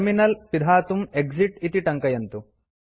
terminal पिधातुं exit इति टङ्कयन्तु